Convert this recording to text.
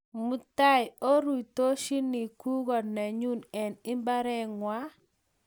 Mutai arutoshini gugo nenyu eng' imbareng'wa